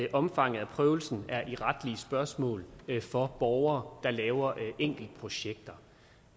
at omfanget af prøvelsen i retlige spørgsmål er for borgere der laver enkeltprojekter